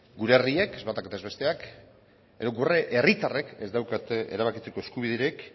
gure herriek ez batak eta ez besteak gure herritarrek ez daukate erabakitzeko eskubiderik